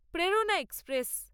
প্রেরণা এক্সপ্রেস